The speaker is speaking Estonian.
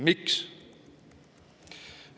Miks?